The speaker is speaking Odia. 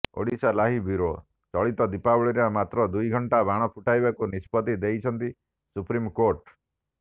ଓଡ଼ିଶାଲାଇଭ୍ ବ୍ୟୁରୋ ଚଳିତ ଦୀପାବଳିରେ ମାତ୍ର ଦୁଇଘଣ୍ଟା ବାଣ ଫୁଟାଇବାକୁ ନିଷ୍ପତ୍ତି ଦେଇଛନ୍ତି ସୁପ୍ରିମକୋର୍ଟ